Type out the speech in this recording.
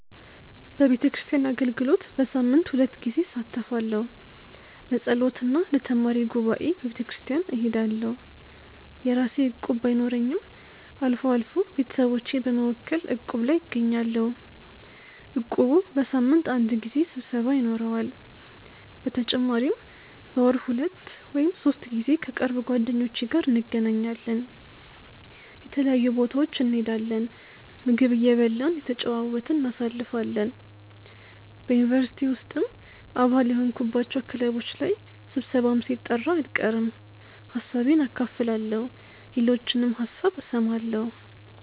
በቤተክርስቲያን አገልግሎት በሳምንት ሁለት ጊዜ እሳተፋለሁ። ለጸሎት እና ለተማሪ ጉባኤ በቤተክርስቲያን እሄዳለሁ። የራሴ እቁብ ባይኖረኝም አልፎ አልፎ ቤተሰቦቼን በመወከል እቁብ ላይ እገኛለሁ። እቁቡ በሳምንት አንድ ጊዜ ስብሰባ ይኖረዋል። በተጨማሪም በወር ሁለት ወይም ሶስት ጊዜ ከቅርብ ጓደኞቼ ጋር እንገናኛለን። የተለያዩ ቦታዎች እንሄዳለን፣ ምግብ እየበላን እየተጨዋወትን እናሳልፋለን። በ ዩኒቨርሲቲ ውስጥም አባል የሆንኩባቸው ክለቦች ላይ ስብሰባም ሲጠራ አልቀርም። ሀሳቤን አካፍላለሁ የሌሎችንም ሀሳብ እሰማለሁ።